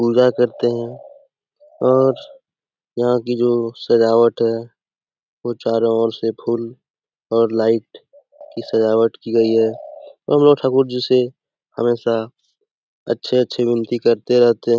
पूजा करते हैं और यहाँ की जो सजावट है वो चारों और से फुल और लाइट की सजावट की गई है और हम लोग ठाकुर जी से हमेशा अच्छे अच्छे विनती करते रहते --